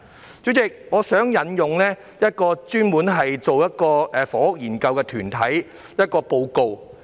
代理主席，我想引用一個專門進行房屋研究的團體的一份報告。